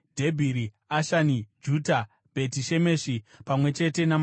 Ashani, Juta, Bheti Shemeshi pamwe chete namafuro awo.